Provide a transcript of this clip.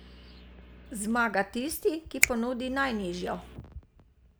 Zmaga tisti, ki ponudi najnižjo.